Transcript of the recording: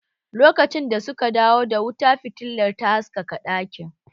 Lokacin da suka dawo da wuta fitilar ta haskaka ɗakin